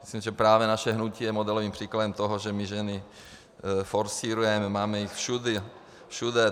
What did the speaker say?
Myslím, že právě naše hnutí je modelovým příkladem toho, že my ženy forsírujeme, máme je všude.